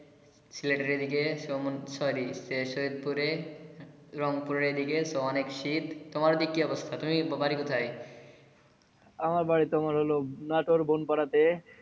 সিলেটের এই দিকে sorry সৈয়দপুরে রংপুরে এ দিকে অনেক শীত তোমার ও দিকে কি অবস্থা তুমি বাড়ি কোথায় আমার বাড়ি তোমার হলো নাটোর বোন পাড়াতে।